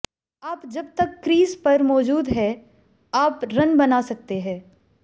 आप जबतक क्रीज पर मौजूद हैं आप रन बना सकते हैं